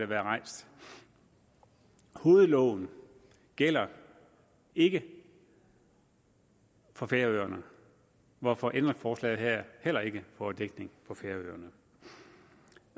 været rejst hovedloven gælder ikke for færøerne hvorfor ændringsforslaget her heller ikke får dækning på færøerne